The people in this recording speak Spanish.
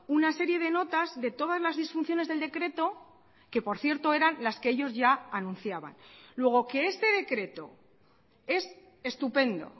una serie de notas de todas las disfunciones del decreto que por cierto eran las que ellos ya anunciaban luego que este decreto es estupendo